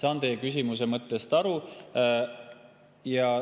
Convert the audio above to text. Ma saan teie küsimuse mõttest aru.